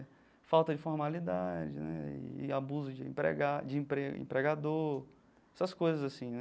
Falta de formalidade, né, e abuso de empregado de emprego empregador, essas coisas assim, né.